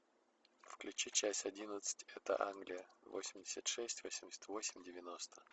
включи часть одиннадцать это англия восемьдесят шесть восемьдесят восемь девяносто